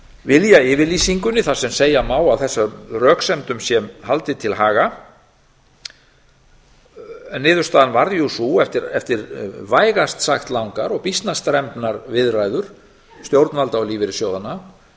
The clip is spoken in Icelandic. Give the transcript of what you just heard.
viljayfirlýsingunni þar sem segja má að þessum röksemdum sé haldið til haga niðurstaðan varð sú eftir vægast sagt langar og býsna strembnar viðræður stjórnvalda og lífeyrissjóðanna